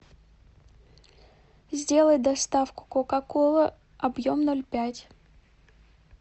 сделай доставку кока кола объем ноль пять